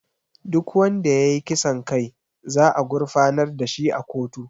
Duk wanda ya yi kisan kai za a gurfanar da shi a kotu